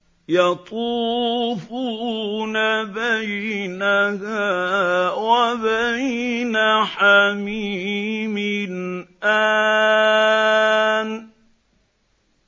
يَطُوفُونَ بَيْنَهَا وَبَيْنَ حَمِيمٍ آنٍ